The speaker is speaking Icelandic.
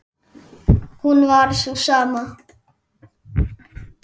hún var sú sama.